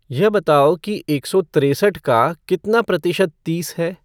यह बताओ कि एक सौ त्रेसठ का कितना प्रतिशत तीस है